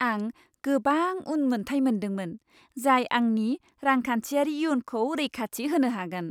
आं गोबां उन मोनथाय मोनदोंमोन, जाय आंनि रांखान्थियारि इयुनखौ रैखाथि होनो हागोन।